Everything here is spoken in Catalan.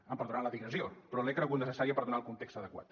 em perdonaran la digressió però l’he cregut necessària per donar el context adequat